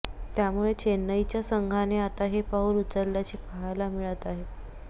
त्यामुळे चेन्नईच्या संघाने आता हे पाऊल उचलल्याचे पाहायला मिळत आहे